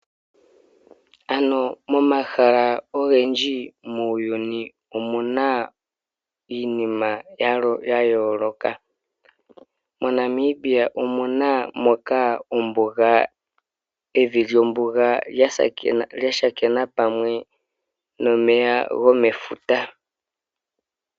Ano momahala ogendji muuyuni iinima ya yooloka .MoNamibia omuna ombuga moka evi lyombuga sha thika pamwe nomeya gomefuta.